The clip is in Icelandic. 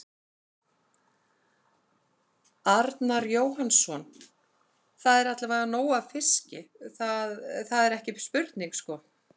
Arnar Jóhannsson: Það er allavega nóg af fiski, það, það er ekki spurning sko?